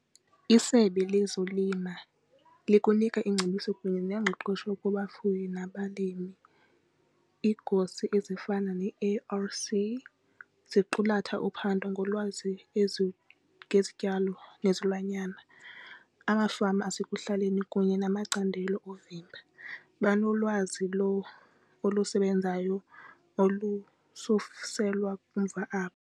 Isebe lezolima lukunika iingcebiso kunye nengqeqesho kubafuyi nabalimi. Igosa ezifana ne-A_R_C ziqulatha uphando ngolwazi ngezityalo nezilwanyana. Amafama asekuhlaleni kunye namacandelo oovimba banolwazi olusebenzayo olususelwa kumva abo.